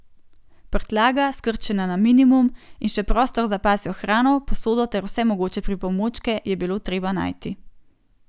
Prtljaga, skrčena na minimum, in še prostor za pasjo hrano, posodo ter vse mogoče pripomočke je bilo treba najti.